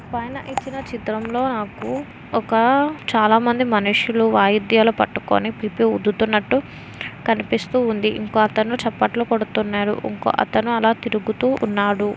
పైన ఇచ్చిన చిత్రంలో నాకు ఒక చాలామంది మనుషులు వాయిద్యాలు పట్టుకొని పుబ్బూ ఊదుతున్నట్టు కనిపిస్తు ఉంది. ఇంకో అతను చెప్పట్లు కొడుతున్నరు. ఇంకో అతను అలా తిరుగుతూ ఉన్నాడు.